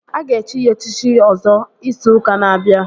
Aga echi ya echichi Ọzọ izu ụka na-abịa